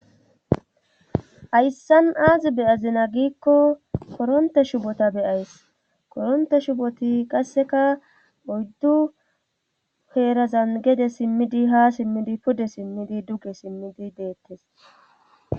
hayssan aazi beyazina giikko koronte shubota beyays koronte shuboti qasseka oyddu heerazan gede simmidi ha simmidi pude simmidi duge simmidi deettes